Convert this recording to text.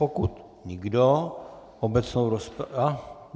Pokud nikdo, obecnou rozpravu...